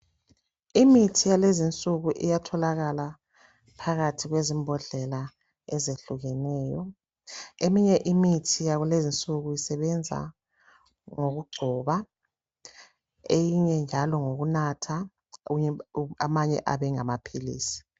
Imithi yalezi insuku iyatholakala phakathi kwezimbodlela ezehlukeneyo. Eminye imithi yakulezi insuku isebenza ngokugcoba eyinye njalo ngokunatha, amanye abe ngamaphilisi.